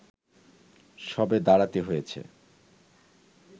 সরে দাঁড়াতে হয়েছে